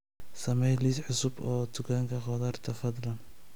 samee liis cusub oo dukanka qudarta fadlan